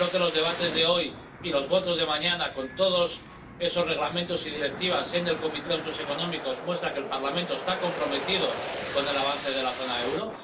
Creo que los debates de hoy y las votaciones de mañana, con todos esos reglamentos y directivas en la Comisión de Asuntos Económicos, muestran que el Parlamento está comprometido con el avance de la zona del euro.